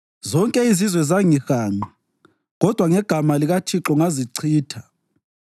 Zonke izizwe zangihanqa, kodwa ngegama likaThixo ngazichitha.